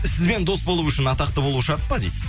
сізбен дос болу үшін атақты болу шарт па дейді